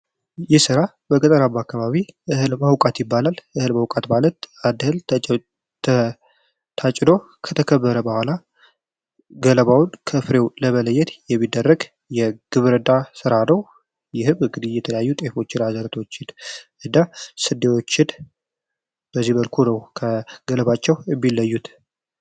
ይህ ስራ በገጠራማ አካባቢ እህል መውቃት ይባላል። እህል መውቃት ማለት አድህል ታጭዶ ከተከበረ በኋላ ገለባውን ከፍሬው ለመለየት የሚደረግ የግብር ሥራ ነው። ይህም እንግዲህ የተያዩ ጤፎች ዘረቶች እና ስዴዎች በዚህ በልኩ ነው። ከገለባቸው እሚለዩት